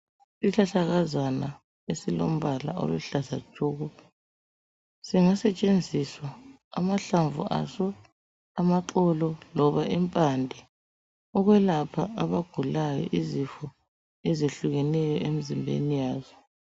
Isihlahlakazana esilombala oluhlaza tshoko, singasetshenziswa, amahlamvu aso, amaxolo loba impande, ukwelapha abagulayo izifo ezehlukeneyo emzimbeni yazo.